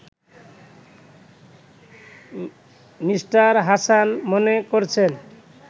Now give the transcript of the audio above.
Me. Hasan মনে করছেন